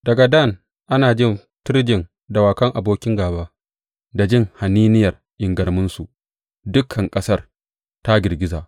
Daga Dan ana jin tirjin dawakan abokin gāba; da jin haniniyar ingarmunsu dukan ƙasar ta girgiza.